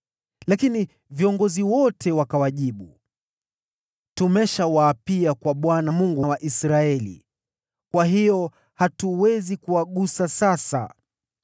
lakini viongozi wote wakawajibu, “Tumeshawaapia kwa Bwana , Mungu wa Israeli, kwa hiyo hatuwezi kuwagusa sasa.